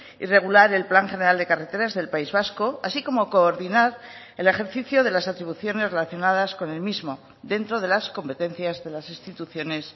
y regular el plan general de carreteras del país vasco así como coordinar el ejercicio de las atribuciones relacionadas con el mismo dentro de las competencias de las instituciones